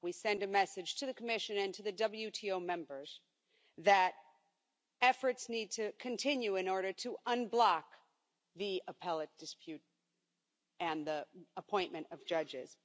We send a message to the Commission and to the WTO members that efforts need to continue in order to unblock the Appellate dispute and the appointment of judges.